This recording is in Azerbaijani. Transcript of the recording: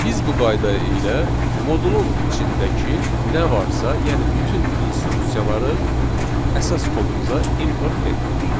Biz bu qayda ilə modulun içindəki nə varsa, yəni bütün instruksiyaları əsas kodumuza import etdik.